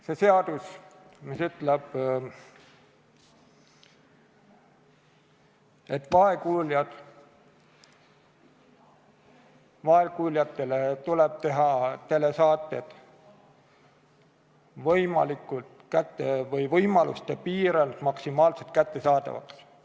See seadus ütleb, et vaegkuuljatele tuleb teha telesaated võimaluste piires maksimaalselt kättesaadavaks.